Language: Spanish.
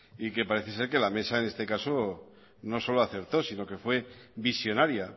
y que parece ser que la mesa en este caso no solo aceptó sino que fue visionaria